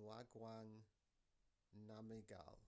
ngawang namgyal